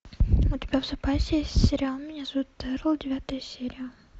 у тебя в запасе есть сериал меня зовут эрл девятая серия